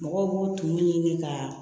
Mɔgɔw b'o tumu ɲini ka